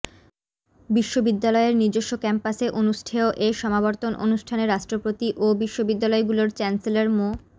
বিশ্ববিদ্যালয়ের নিজস্ব ক্যাম্পাসে অনুষ্ঠেয় এ সমাবর্তন অনুষ্ঠানে রাষ্ট্রপতি ও বিশ্ববিদ্যালয়গুলোর চ্যান্সেলর মো